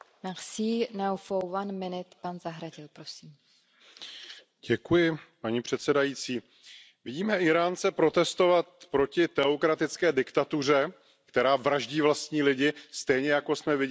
Paní předsedající, vidíme Íránce protestovat proti teokratické diktatuře, která vraždí vlastní lidi, stejně jako jsme viděli předchozí generace Íránců protestovat proti diktatuře někdejšího šáha.